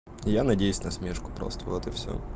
я надеюсь насмешку просто вот и всё